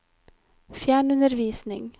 fjernundervisning